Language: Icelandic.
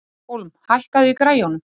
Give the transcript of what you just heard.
Hólm, hækkaðu í græjunum.